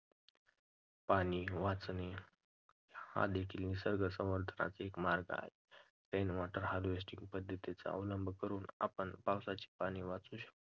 पाणी वाचवणे हा देखील निसर्ग संवर्धनाचा एक मार्ग आहे. rainwater harvesting पद्धतीचा अवलंब करून आपण पावसाचे पाणी वाचवू शकतो.